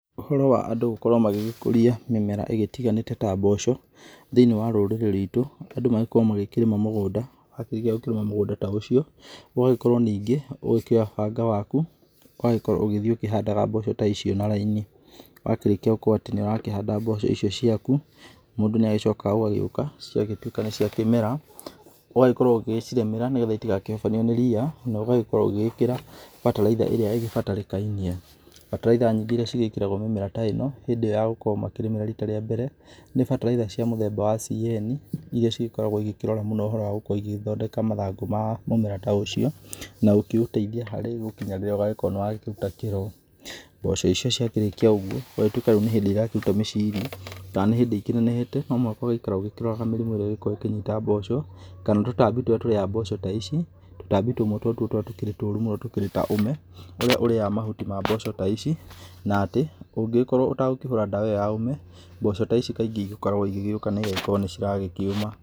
Ũhoro wa andũ gũkorwo magĩgĩkũria mĩmera ĩgĩtiganĩte ta mboco thĩ-inĩ wa rũrĩrĩ rwitũ; andũ magĩkoragwo magĩkĩrĩma mũgũnda. Wakĩrĩkia kũrĩma mũgũnda ta ũcio ũgagĩkorwo ningĩ ũgĩkĩoya banga waku, ũgagĩkorwo ũgĩthiĩ ũkĩhandaga mboco ta icio na raini. Wakĩrĩkia gũkorwo atĩ nĩ ũrahanda mboco icio ciaku, mũndũ nĩ agĩcokaga ũgagĩũka ciagĩtwĩka nĩ ciakĩmera, ũgagĩkorwo ũgĩgĩcirĩmĩra nĩ getha itigakĩhobanio nĩ riia na ũgagĩkorwo ũgĩgĩkĩra bataraitha ĩrĩa ĩgĩbatarĩkainie. Bataraitha nyingĩ iria cigĩkĩragwo mimera ta ĩno hĩndĩ iyo ya gũkorwo makĩrĩmĩra rita rĩa mbere, nĩ bataraitha cia mũthemba wa CN, iria cigĩkoragwo cigĩkĩrora mũno ũhoro wa gũkorwo igĩgĩthondeka mathangũ ma mũmera ta ũcio na gũkĩũteithia harĩ gũkinya rĩrĩa ũgagĩkorwo nĩ wakĩruta kĩro. Mboco icio ciakĩrĩkia ũguo gũgatwĩka rĩu nĩ hĩndĩ irakĩruta mĩciri, kana nĩ hĩndĩ ikĩnenehete, no mũhaka ũgagĩikara ũgĩkĩroraga mĩrimu ĩrĩa ĩgĩkoragwo ĩkĩnyita mboco, kana tũtambi tũrĩa tũriaga mboco ta ici, tũtambi tumwe tũrĩa two tũkĩrĩ tũru mũno tũkĩrĩ ta ũme ũrĩa ũrĩaga mahuti ma mboco ta ici na thĩ. Ũngĩgĩkorwo ũtagũkĩhũra ndawa ĩyo ya ũme mboco ta ici kaingĩ ĩgĩkoragwo igĩgĩũka na ĩgagĩkorwo nĩ iragĩkĩũma.